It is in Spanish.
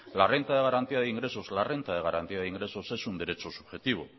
la renta de garantía de ingresos la renta de garantía de ingresos es un derecho subjetivo